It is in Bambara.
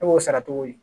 E b'o sara cogo di